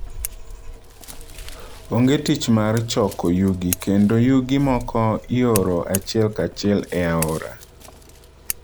Onge tich mar choko yugi, kendo yugi moko ioro achiel kachiel e aora.